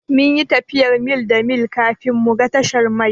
Mun yi tafiyar mil da mil kafin mu ga tashar mai.